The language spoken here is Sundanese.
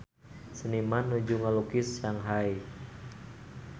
Seniman nuju ngalukis Shanghai